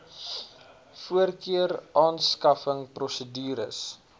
voorkeur aanskaffing prosedures